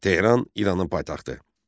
Tehran İranın paytaxtı.